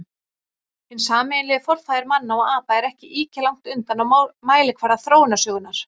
Hinn sameiginlegi forfaðir manna og apa er ekki ýkja langt undan á mælikvarða þróunarsögunnar.